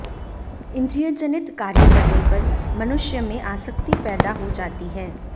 इन्द्रियजनित कार्य करने पर मनुष्य में आसक्ति पेैदा हो जाती है